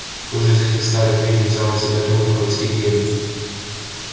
кто же из этих старых ведьм взял на себя труд оповестить эллин